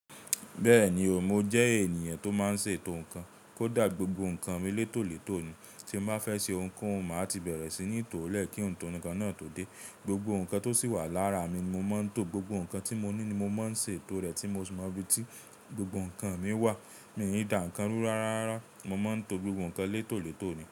Bẹ́ẹ̀ni o, mo jẹ́ ènìyàn tó máa ń ṣe ètò nnkan. Kódà gbogbo nnkan mi létòlètò ni. Tí mo bá fẹ́ ṣe ohunkóhun, màá ti bẹ̀rẹ̀ sí ní tò ó lẹ́kí ńtọ̀ nnkan náà tó dé. Gbogbo nnkan tó sì wà lára mi mo máa ń tò. Gbogbo nnkan tí mo ní ni mo máa ń ṣe ètò rẹ̀ tí mo sì mọ ibi tí gbogbo nnkan mi wà. Mi ò ní dà nǹkan rú rara. Mo máa ń to gbogbo nnkan létòlètò ni.